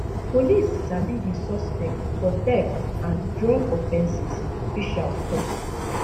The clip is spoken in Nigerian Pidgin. police sabi di suspect for theft and drug offences officials tok